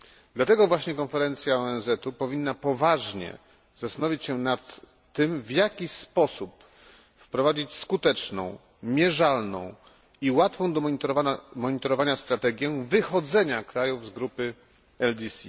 Dlatego właśnie konferencja ONZu powinna poważnie zastanowić się nad tym, w jaki sposób wprowadzić skuteczną, mierzalną i łatwą do monitorowania strategię wychodzenia krajów z grupy LDC.